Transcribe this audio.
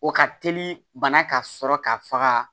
O ka teli bana ka sɔrɔ ka faga